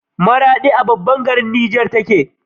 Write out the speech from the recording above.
maradi a bangaran Niger tace